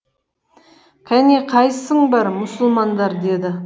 кәне қайсың бар мұсылмандар деді